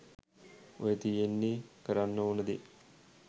ඔය තියෙන්නේ කරන්න ඕන දේ